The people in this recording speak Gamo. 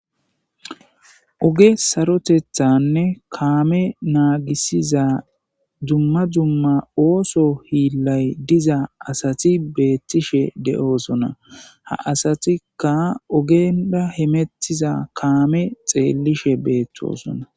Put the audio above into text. oge sarotethanne kaame naagisiza dumma dumma ooso hiillay diza asati beettishe de'oosona ha asatikka ogenda hemettiza kaame xeellishe beetosona